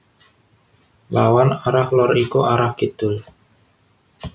Lawan arah lor iku arah Kidul